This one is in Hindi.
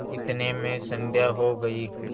इतने में संध्या हो गयी